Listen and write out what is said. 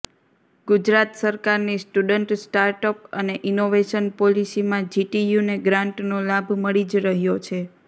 ગુજરાત સરકારની student startup અને innovation પોલીસીમાં જીટીયુને ગ્રાન્ટનો લાભ મળી જ રહ્યો છે